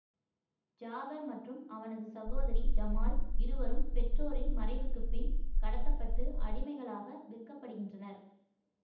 ஜாபர் மற்றும் அவனது சகோதரி ஜமால் இருவரும் பெற்றோரின் மறைவுக்கு பின் கடத்த பட்டு அடிமைகளாக விற்கப்படுகின்றனர்